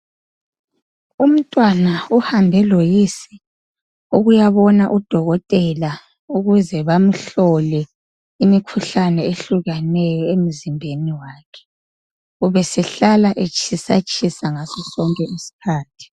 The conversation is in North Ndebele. Umntwana uhambe loyise ukuyabona udokotela ukuze bamhlole imikhuhlane ehlukeneyo emzimbeni wakhe. Ubesehlala etshisatshisa ngasodonke isikhathi.